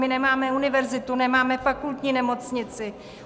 My nemáme univerzitu, nemáme fakultní nemocnici.